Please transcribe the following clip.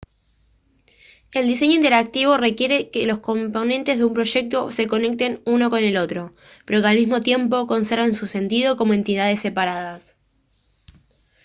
el diseño interactivo requiere que los componentes de un proyecto se conecten uno con el otro pero que al mismo tiempo conserven su sentido como entidades separadas